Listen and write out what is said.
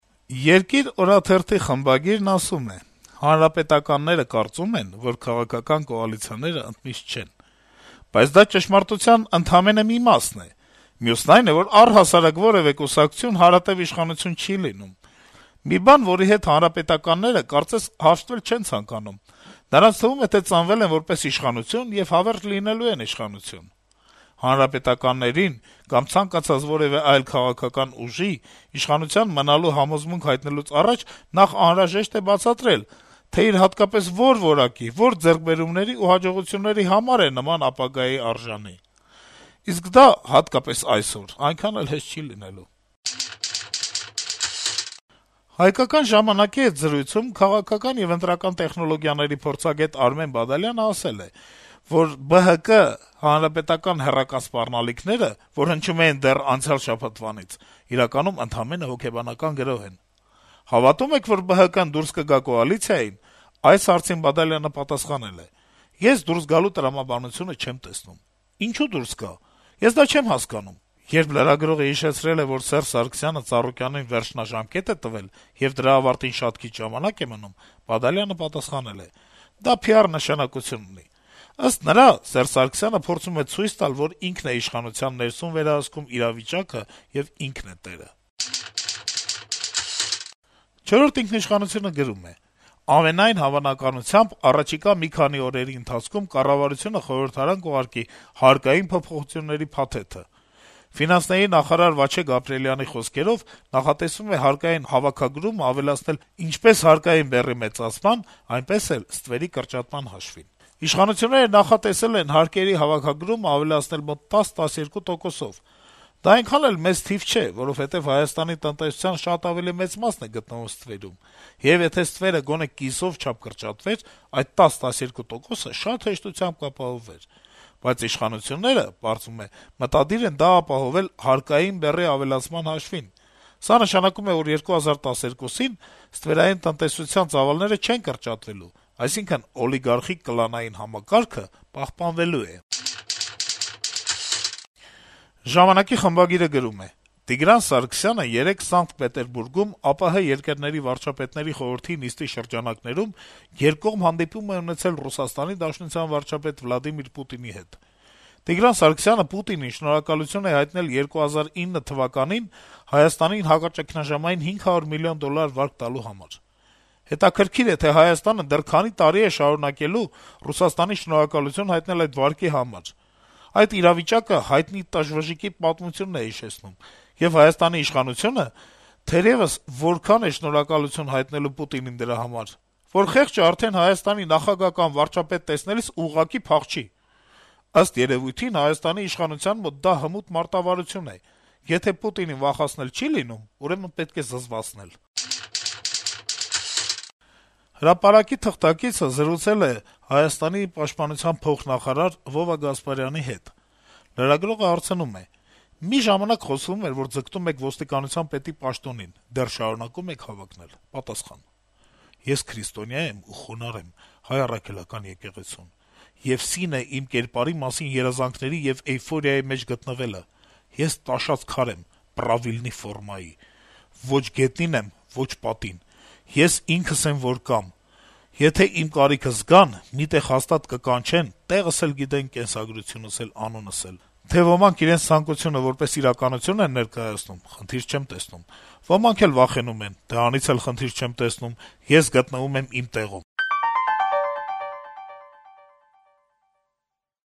«Երկիր» օրաթերթի խմբագիրը գրում է. - «Հանրապետականները կարծում են, որ քաղաքական կոալիցիաներն ընդմիշտ չեն: Բայց դա ճշմարտության ընդամենը մի մասն է: Մյուսն այն է, որ առհասարակ որեւէ կուսակցություն հարատեւ իշխանություն չի լինում: Մի բան, որի հետ հանրապետականները, կարծես, հաշտվել չեն ցանկանում: Նրանց թվում է, թե ծնվել են որպես իշխանություն և հավերժ լինելու են իշխանություն: Հանրապետականներին կամ ցանկացած որեւէ այլ քաղաքական ուժի՝ իշխանություն մնալու համոզմունք հայտնելուց առաջ նախ անհրաժեշտ է բացատրել, թե իր հատկապես որ որակի, որ ձեռքբերումների ու հաջողությունների համար է արժանի նման ապագայի: Իսկ դա հատկապես այսօր այնքան էլ հեշտ չի լինելու»: «Հայկական ժամանակ»-ի հետ զրույցում քաղաքական եւ ընտրական տեխնոլոգիաների փորձագետ Արմեն Բադալյանը ասել է, որ ԲՀԿ-ՀՀԿ հեռակա սպառնալիքները, որ հնչում էին դեռ անցյալ շաբաթվանից, իրականում ընդամենը հոգեբանական գրոհ են: «Հավատո՞ւմ եք, որ ԲՀԿ-ն դուրս կգա կոալիցիայից» հարցին Բադալյանը պատասխանել է. - «Ես դուրս գալու տրամաբանությունը չեմ տեսնում: Ինչո՞ւ դուրս գա: Ես դա չեմ հասկանում»: Երբ լրագրողը հիշեցրել է, որ Սերժ Սարգսյանը Ծառուկյանին վերջնաժամկետ է տվել, եւ դրա ավարտին շատ քիչ ժամանակ է մնում, Բադալյանը պատասխանել է. - «Դա PR նշականություն ունի»: - «Ըստ նրա, Սերժ Սարգսյանը փորձում է ցույց տալ, որ ինքն է իշխանության ներսում վերահսկում իրավիճակը եւ ինքն է տերը», - գրում է թերթը: «Չորրորդ ինքնիշխանություն»-ը գրում է. - «Ամենայն հավանականությամբ, առաջիկա մի քանի օրերի ընթացքում կառավարությունը խորհրդարան կուղարկի «հարկային փոփոխությունների փաթեթը»: Ֆինանսների նախարար Վաչե Գաբրիելյանի խոսքերով, նախատեսվում է հարկային հավաքագրումն ավելացնել «ինչպես հարկային բեռի մեծացման, այնպես էլ ստվերի կրճատման հաշվին»: Իշխանությունները նախատեսել են հարկերի հավաքագրումն ավելացնել մոտ 10-12 տոկոսով: Դա այնքան էլ մեծ թիվ չէ, որովհետեւ Հայաստանի տնտեսության շատ ավելի մեծ մասն է գտնվում ստվերում, եւ եթե ստվերը գոնե կիսով չափ կրճատվեր, այդ 10-12 տոկոս աճը հեշտությամբ կապահովվեր: Բայց իշխանությունները, պարզվում է, մտադիր են դա ապահովել «հարկային բեռի ավելացման հաշվին»: Սա նշանակում է, որ 2012-ին ստվերային տնտեսության ծավալները չեն կրճատվելու, այսինքն օլիգարխիկ-կլանային համակարգը պահպանվելու է»: «Ժամանակ»-ի խմբագիրը գրում է. - «Տիգրան Սարգսյանը երեկ Սանկտ Պետերբուրգում ԱՊՀ երկրների վարչապետների խորհրդի նիստի շրջանակներում երկկողմ հանդիպում է ունեցել ՌԴ վարչապետ Վլադիրմիր Պուտինի հետ: Տիգրան Սարգսյանը Պուտինին շնորհակալություն է հայտնել 2009 թվականին Հայաստանին հակաճգնաժամային 500 միլիոն դոլար վարկ տալու համար: Հետաքրքիր է, թե Հայաստանը դեռ քանի տարի է շարունակելու Ռուսաստանին շնորհակալություն հայտնել այդ վարկի համար: այդ իրավիճակը հայտնի «տժվժիկի» պատմությունն է հիշեցնում, եւ Հայաստանի իշխանությունը, թերեւս, այնքան է շնորհակալություն հայտնելու Պուտինին դրա համար, որ խեղճը արդեն Հայաստանի նախագահ կամ վարչապետ տեսնելիս ուղղակի փախչի: Ըստ երեւույթին, Հայաստանի իշխանության մոտ դա հմուտ մարտավարություն է. եթե Պուտինին վախեցնել չի լինում, ուրեմն պետք է զզվացնել»: «Հրապարակ»-ի թղթակիցը զրուցել է Հայաստանի պաշտպանության փոխնախարար Վովա Գասպարյանի հետ: Լրագրողը հարցնում է. - «Մի ժամանակ խոսվում էր, որ ձգտում եք ոստիկանության պետի պաշտոնին, դեռ շարունակո՞ւմ եք հավակնել»: Գասպարյանը պատասխանում է. - «Ես քրիստոնյա եմ եւ խոնարհ եմ Հայ առաքելական եկեղեցուն, եւ սին է իմ կերպարի համար երազանքների եւ էյֆորիայի մեջ գտնվելը: Ես տաշած քար եմ՝ պրավիլնի ֆորմայի, ոչ գետնին եմ, ոչ պատին, ես ինքն եմ, որ կամ: Եթե իմ կարիքը զգան, մի տեղ հաստատ կկանչեն, տեղս էլ գիտեն, կենսագրությունս էլ, անունս էլ: Թե ոմանք իրենց ցանկությունը որպես իրականություն են ներկայացնում, խնդիր չեմ տեսնում, ոմանք էլ վախենում են. դրանից էլի խնդիր չեմ տեսնում, ես գտնվում եմ իմ տեղում»: